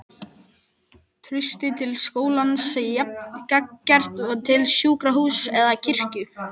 Traustið til skólans jafn gagngert og til sjúkrahúss eða kirkju.